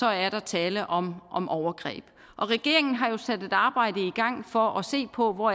er der tale om om overgreb regeringen har sat et arbejde i gang for at se på hvor